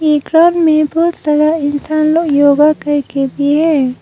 ये ग्राउंड में बहुत सारा इंसान लोग योगा कर के रही है।